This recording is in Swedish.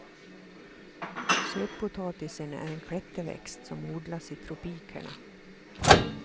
Sötpotatisen är en klätterväxt som odlas i tropikerna.